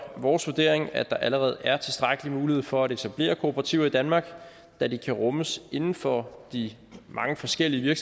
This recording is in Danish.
vores vurdering at der allerede er tilstrækkelig mulighed for at etablere kooperativer i danmark da de kan rummes inden for de mange forskellige